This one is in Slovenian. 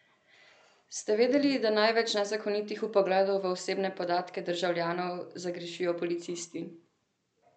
Ste vedeli, da največ nezakonitih vpogledov v osebne podatke državljanov zagrešijo policisti?